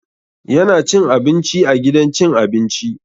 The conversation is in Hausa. Yana cin abinci a gidan cin abinci.